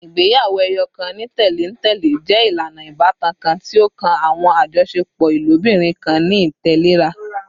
Igbeyawo-ẹyọkan ni tẹlentẹle jẹ ilana ibatan kan ti o kan awọn ajọṣepọ ilobirin kan ni itẹlera